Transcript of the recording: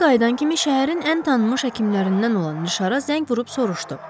Evə qayıdan kimi şəhərin ən tanınmış həkimlərindən olan Nişara zəng vurub soruşdu: